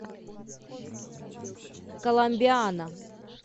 коломбиана